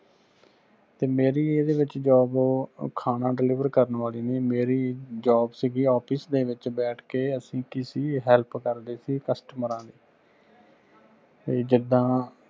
ਤੇ ਮੇਰੀ ਇਹਦੇ ਵਿਚ job ਖਾਣਾ deliver ਕਰਨ ਵਾਲੀ ਨਹੀਂ ਮੇਰੀ job ਸੀਗੀ office ਵਿਚ ਬੈਠ ਕੇ ਕਿਸੀ help ਕਰਦੇ ਸੀ ਕਸਟਮਰਾਂ ਦੀ ਵੀ ਜਿੰਦਾ